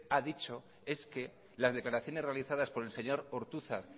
ha dicho es que las declaraciones realizadas por el señor ortuzar